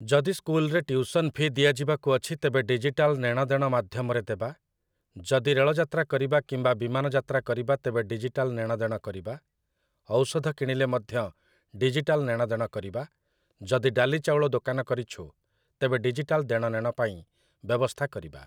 ଯଦି ସ୍କୁଲରେ tuition fee ଦିଆଯିବାକୁ ଅଛି ତେବେ ଡିଜିଟାଲ୍ ନେଣଦେଣ ମାଧ୍ୟମରେ ଦେବା । ଯଦି ରେଳଯାତ୍ରା କରିବା କିମ୍ବା ବିମାନଯାତ୍ରା କରିବା ତେବେ ଡିଜିଟାଲ୍ ନେଣଦେଣ କରିବା । ଔଷଧ କିଣିଲେ ମଧ୍ୟ ଡିଜିଟାଲ୍ ନେଣଦେଣ କରିବା । ଯଦି ଡାଲି ଚାଉଳ ଦୋକାନ କରିଛୁ, ତେବେ ଡିଜିଟାଲ୍ ଦେଣନେଣ ପାଇଁ ବ୍ୟବସ୍ଥା କରିବା ।